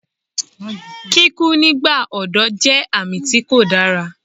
Kíkú nígbà ọ̀dọ́ jẹ́ àmì tí kò dára